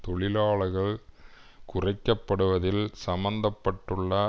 தொழிலாளர்கள் குறைக்கப்படுவதில் சம்பந்த பட்டுள்ள